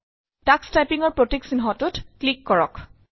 Tux টাইপিঙৰ প্ৰতীক চিহ্নটোত ক্লিক কৰক